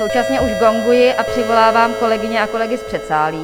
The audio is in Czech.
Současně už gonguji a přivolávám kolegyně a kolegy z předsálí.